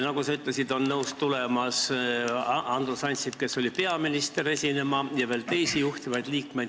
On ka teisi juhtivaid liikmeid, kes on nõus tulema.